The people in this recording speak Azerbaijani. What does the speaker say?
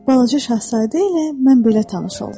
Balaca şahzadə ilə mən belə tanış oldum.